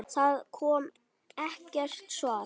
Það kom ekkert svar.